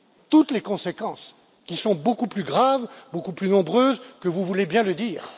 Toutes les conséquences, qui sont beaucoup plus graves, beaucoup plus nombreuses que vous voulez bien le dire.